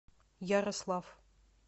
ярослав